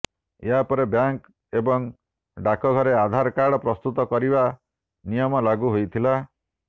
ଏହାପରେ ବ୍ୟାଙ୍କ୍ ଏବଂ ଡାକଘରେ ଆଧାର କାର୍ଡ ପ୍ରସ୍ତୁତ କରିବା ନିୟମ ଲାଗୁ ହୋଇଥିଲା